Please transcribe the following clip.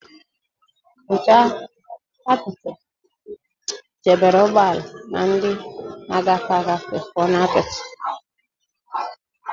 Nche apịtị chebere ụgbọala na ndị na-agafe agafe pụọ na apịtị